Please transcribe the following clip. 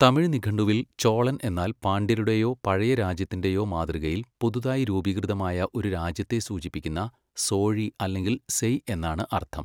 തമിഴ് നിഘണ്ടുവിൽ ചോളൻ എന്നാൽ പാണ്ഡ്യരുടെയോ പഴയ രാജ്യത്തിന്റെയോ മാതൃകയിൽ പുതുതായി രൂപീകൃതമായ ഒരു രാജ്യത്തെ സൂചിപ്പിക്കുന്ന സോഴി അല്ലെങ്കിൽ സെയ് എന്നാണ് അർത്ഥം.